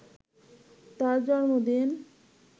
তাঁর জন্মদিনে